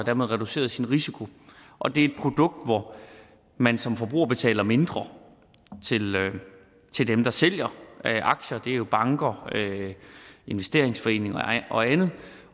har man reduceret sin risiko og det er et produkt hvor man som forbruger betaler mindre til dem der sælger aktier og det er jo banker investeringsforeninger og andet